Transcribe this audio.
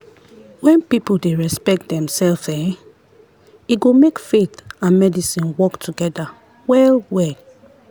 when people dey respect demself[um]e go make faith and medicine work together well-well.